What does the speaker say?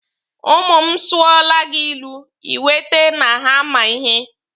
Ụmụ m sụọla gị ilu, Ị kwete na ha ma ihe.